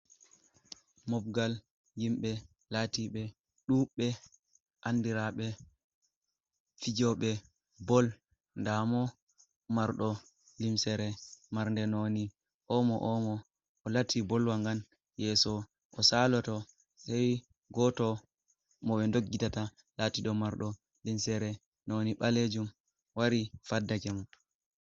Mobgal himbe lati ɓe ɗuɓɓe, andiraɓe fijoɓe bol nɗamo marɗo limsere marnɗe noni omo - omo, o lati bolwa ngan yeso o saloto sei goto mo ɓe nɗoggitata latiɗo marɗ limsere noni ɓalejum wari faddake mo.